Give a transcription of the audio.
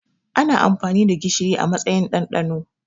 Ana amfani da gishiri a matsayin ɗanɗano